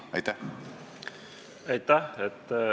Aitäh!